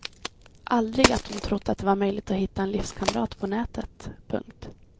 Aldrig att hon trott att det var möjligt att hitta en livskamrat på nätet. punkt